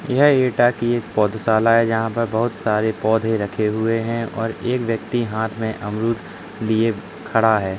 यह एटा की एक पौधशाला है। जहाँ पे बहुत सारे पौधे रखे हुए हैं और एक व्यक्ति हाथ में अमरुद लिए खड़ा है।